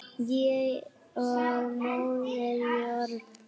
Ég og Móðir jörð.